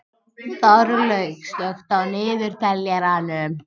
Þorlaug, slökktu á niðurteljaranum.